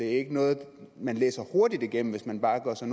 ikke noget man læser hurtigt igennem hvis man bare gør sig